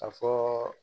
A fɔɔ